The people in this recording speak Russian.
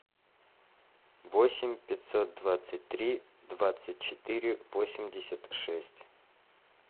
восемь пятьсот двадцать три двадцать четыре восемьдесят шесть